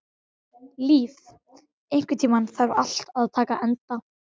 Líf, einhvern tímann þarf allt að taka enda.